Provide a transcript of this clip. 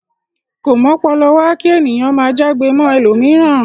Ko m'ọ́pọlọwá ki ènìyàn máa já'gbe mọ ẹlomiran.